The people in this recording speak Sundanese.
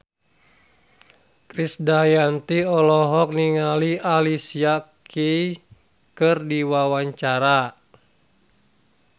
Krisdayanti olohok ningali Alicia Keys keur diwawancara